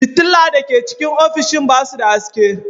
Fitilla da ke cikin ofishin ba su da haske.